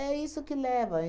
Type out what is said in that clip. É isso que leva.